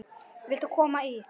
Viltu koma í?